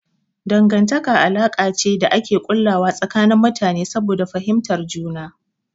Dangantaka alaka ce da ake ƙullawa tsakanin mutane saboda fahimtar juna.